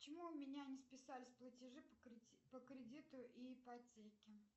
почему у меня не списались платежи по кредиту и ипотеке